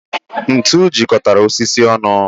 Ńtù jikọtara osisi onụ